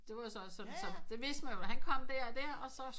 Det var så også sådan det vidste man jo han kom der og der og så